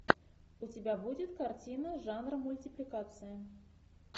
у тебя будет картина жанра мультипликация